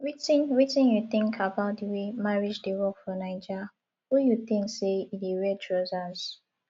wetin wetin you think about di way marriage dey work for naija who you think say e dey wear trousers